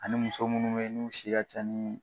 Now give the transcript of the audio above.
Ani muso munnu be yen n'u si ka ca ni